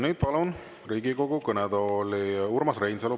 Nüüd palun Riigikogu kõnetooli Urmas Reinsalu.